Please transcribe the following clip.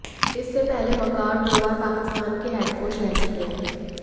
इससे पहले वकार दो बार पाकिस्तान के हेड कोच रह चुके हैं